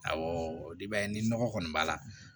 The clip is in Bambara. Awɔ i b'a ye ni nɔgɔ kɔni b'a la